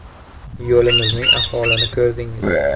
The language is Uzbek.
“Yo‘limizning ahvolini ko‘rdingiz.